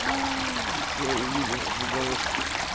а все увидел в уголочке